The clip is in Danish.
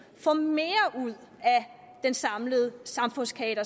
få mere ud af den samlede samfundskage